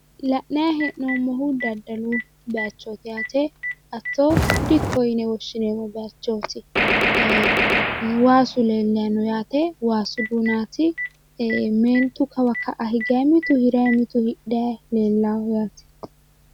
La'nayi hee'noommohu daaddalu bayichooti asso dikko yine woshshineemmo. Meen bayichooti. Ee waasu leellayi no yaate waasu duunaati. Meentu kawa ka'a higay mitu hirayi mitu hidhay leellawo yaate